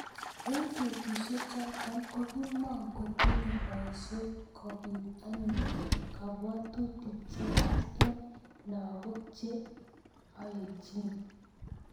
Eng betusiechoto kokimokotinyei boiset kobit anyun kabwatutik cheyach eng lagok che oechin